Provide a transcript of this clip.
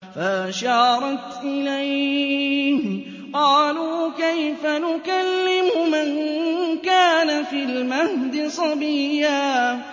فَأَشَارَتْ إِلَيْهِ ۖ قَالُوا كَيْفَ نُكَلِّمُ مَن كَانَ فِي الْمَهْدِ صَبِيًّا